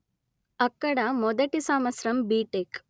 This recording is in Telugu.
అక్కడ మొదటి సంవత్సరం బిటెక్